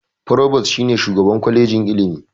Provost shi ne shugaban kwajejin ilimi.